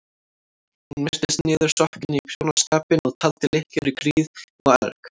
Hún virtist niðursokkin í prjónaskapinn og taldi lykkjur í gríð og erg.